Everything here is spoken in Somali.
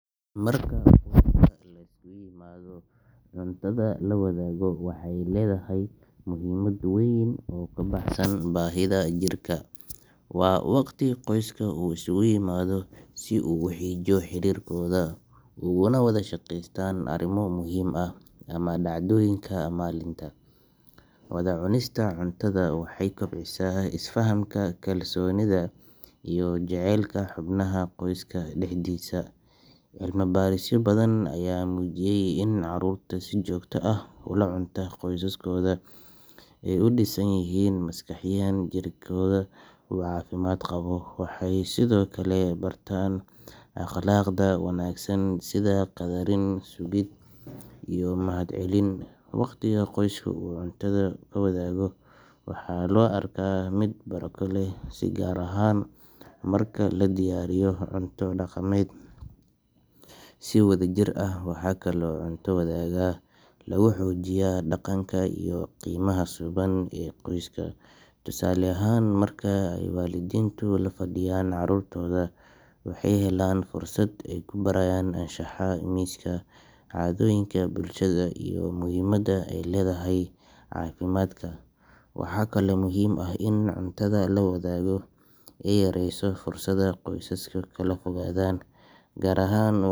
Marka qoyska la isu yimaado, cuntada la wadaago waxay leedahay muhiimad weyn oo ka baxsan baahida jirka. Waa waqti qoyska uu isugu yimaado si uu u xoojiyo xiriirkooda, ugana wada sheekeystaan arrimo muhiim ah ama dhacdooyinka maalinta. Wada cunista cuntada waxay kobcisaa isfahamka, kalsoonida, iyo jacaylka xubnaha qoyska dhexdiisa. Cilmi baarisyo badan ayaa muujiyey in carruurta si joogto ah ula cunta qoysaskooda ay u dhisan yihiin maskaxiyan, jirkooduna u caafimaad qabo. Waxay sidoo kale bartaan akhlaaqda wanaagsan sida qadarin, sugid, iyo mahadcelin. Waqtiga qoyska uu cuntada ku wadaago waxaa loo arkaa mid barako leh, gaar ahaan marka la diyaariyo cunto dhaqameed si wadajir ah. Waxaa kaloo cunto wadaagga lagu xoojiyaa dhaqanka iyo qiimaha suuban ee qoyska. Tusaale ahaan, marka ay waalidiintu la fadhiyaan carruurtooda, waxay helaan fursad ay ku barayaan anshaxa miiska, caadooyinka bulshada, iyo muhiimadda ay leedahay caafimaadka. Waxaa kaloo muhiim ah in cuntada la wadaago ay yareyso fursadda qoysasku kala fogaadaan, gaar ahaan wa.